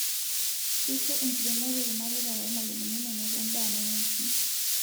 Keisho enkiremore ilmareita loo lmalimuni menoto endaa nemeiting'